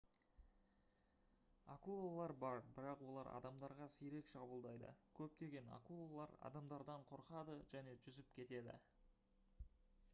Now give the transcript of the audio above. акулалар бар бірақ олар адамдарға сирек шабуылдайды көптеген акулалар адамдардан қорқады және жүзіп кетеді